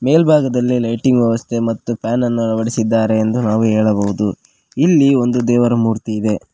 ಮೆಲ್ಬಾಗದಲ್ಲಿ lighting ವ್ಯವಸ್ಥೆ ಮತ್ತು ಫ್ಯಾನನ್ನು ಅಳವಡಿಸಿದ್ದಾರೆ ಎಂದು ನಾವು ಹೇಳಬಹುದು ಇಲ್ಲಿ ಒಂದು ದೇವರ ಮೂರ್ತಿ ಇದೆ.